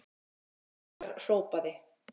Móðir okkar hrópaði.